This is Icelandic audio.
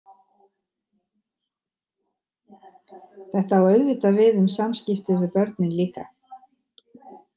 Þetta á auðvitað við um samskipti við börnin líka.